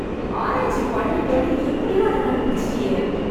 ஆராய்ச்சி பண்ணி பண்ணி எப்படியோ அத கண்டுபிடிச்சிட்டியே.